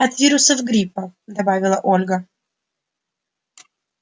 от вирусов гриппа добавила ольга